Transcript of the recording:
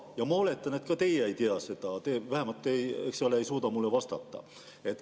Ja ma oletan, et ka teie ei tea seda, vähemalt te ei suuda mulle vastata.